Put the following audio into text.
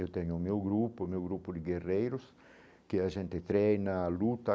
Eu tenho o meu grupo, o meu grupo de guerreiros, que a gente treina, luta.